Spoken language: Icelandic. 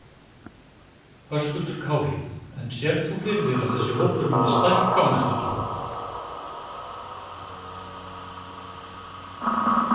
Höskuldur Kári: En sérð þú fyrir þér að þessi hópur muni stækka á næstu dögum?